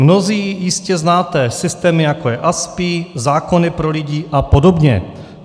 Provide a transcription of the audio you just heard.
Mnozí jistě znáte systémy jako je ASPI, zákony pro lidi a podobně.